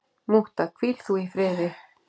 Mútta, hvíl þú í friði.